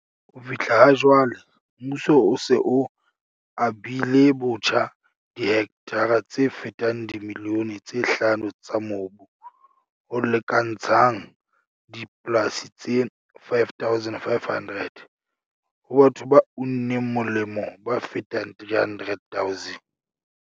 "Ho fihlela ha jwale, mmuso o se o abilebotjha dihektara tse fetang dimilione tse hlano tsa mobu, ho lekantshang dipolasi tse 5 500, ho batho ba uneng molemo ba fetang 300 000."